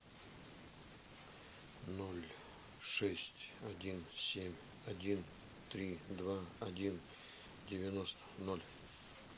ноль шесть один семь один три два один девяносто ноль